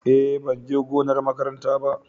Eh ban je gonar makaranta ba.